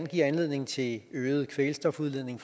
give anledning til øget kvælstofudledning